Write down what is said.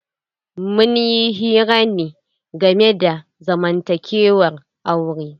Munyi hira ne game da zamantakewar aure.